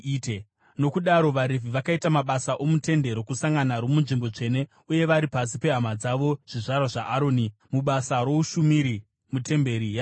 Nokudaro vaRevhi vakaita mabasa omuTende Rokusangana, romuNzvimbo Tsvene uye vari pasi pehama dzavo zvizvarwa zvaAroni, mubasa roushumiri mutemberi yaJehovha.